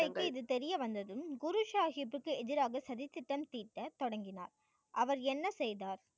இது தெரியவந்ததும் குரு சாஹிப்க்கு எதிராக சதி திட்டம் தீட்ட தொடங்கினார் அவர் என்ன செய்தார்?